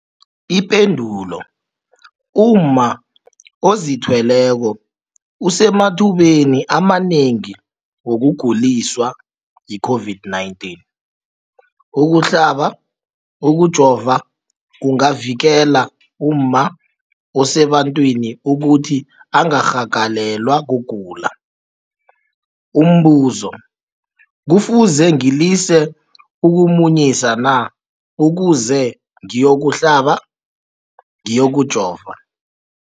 Ipendulo, umma ozithweleko usemathubeni amanengi wokuguliswa yi-COVID-19. Ukuhlaba, ukujova kungavikela umma osebantwini ukuthi angarhagalelwa kugula. Umbuzo, kufuze ngilise ukumunyisa na ukuze ngiyokuhlaba, ngiyokujova?